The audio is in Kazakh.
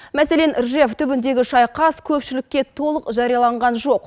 мәселен ржев түбіндегі шайқас көпшілікке толық жарияланған жоқ